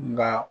Nka